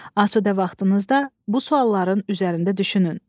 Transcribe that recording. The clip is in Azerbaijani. Asudə vaxtınızda bu sualların üzərində düşünün.